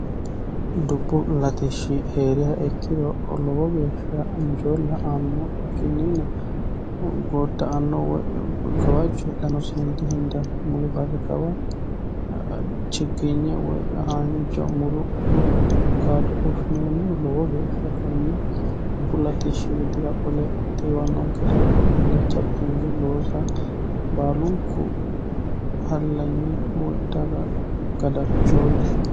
dubbu latishshi hee'riha ikkiro lowo geeshsha injoolla aanno ikkinniina godda anno woy gawajjo hedhano sine dihendanni muli bari kawa chigginye woy haanja muru gaado fushshinoonnihu lowo geefhsha kunni dubbu latishshi widira qole tiiwannonke daafo illachatti hunge loosa baalunku hallanyi woy daga gadachooti